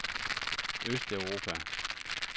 østeuropa